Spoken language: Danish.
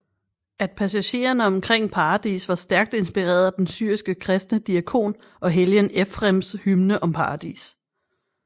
At passagerne omkring paradis var stærkt inspireret af den syriske kristne diakon og helgen Ephrems hymne om paradis